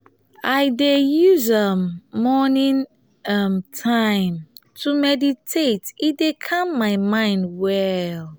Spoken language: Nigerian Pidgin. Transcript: i dey use um morning um time to meditate e dey calm my mind well.